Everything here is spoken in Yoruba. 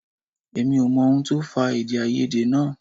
Èmi ò mọ ohun tó fà èdèàìyedè náà